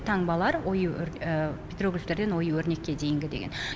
таңбалар ою петроглифтер деген ою өрнекке дейінгі деген